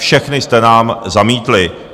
Všechny jste nám zamítli.